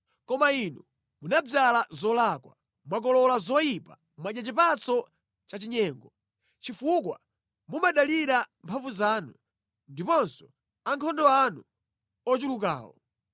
Koma inu munadzala zolakwa, mwakolola zoyipa; mwadya chipatso cha chinyengo. Chifukwa mumadalira mphamvu zanu ndiponso ankhondo anu ochulukawo,